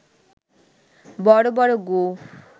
বড় বড় গোঁফ